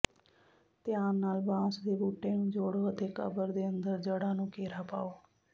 ਧਿਆਨ ਨਾਲ ਬਾਂਸ ਦੇ ਬੂਟੇ ਨੂੰ ਜੋੜੋ ਅਤੇ ਕਬਰ ਦੇ ਅੰਦਰ ਜੜ੍ਹਾਂ ਨੂੰ ਘੇਰਾ ਪਾਓ